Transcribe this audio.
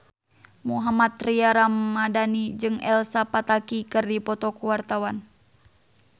Mohammad Tria Ramadhani jeung Elsa Pataky keur dipoto ku wartawan